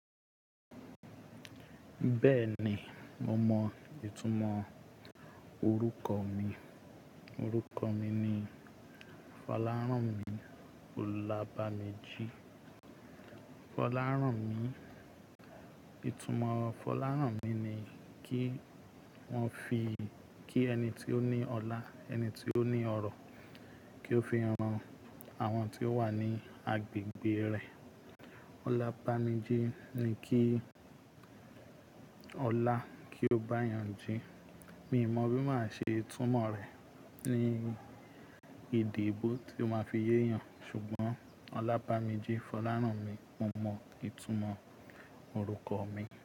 Bẹ́ẹ̀ni, mo mọ ìtumọ̀ orúkọ mi. Orúkọ mi ni Fọlárànmi Olábamijì. Fọlárànmi, ìtumọ̀ Fọlárànmi ni kí wọ́n fi, kí ẹni tí ó ní ọlá, ẹni tí ó ní ọrọ̀ kí ó fi ran àwọn tí ó wà ní agbègbè rẹ̀. Olábamijì ni kí ọlá kí ó bá yàn jí. Mi ò mọ bí máa ṣe ìtumọ̀ rẹ̀ ní èdè èèbó tí ó máa fi yéyàn. Ṣùgbọ́n Olábamijì, Fọlárànmi, mo mọ ìtumọ̀ orúkọ mi.